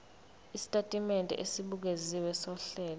isitatimende esibukeziwe sohlelo